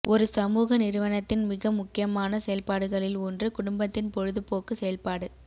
ஒரு சமூக நிறுவனத்தின் மிக முக்கியமான செயல்பாடுகளில் ஒன்று குடும்பத்தின் பொழுதுபோக்கு செயல்பாடு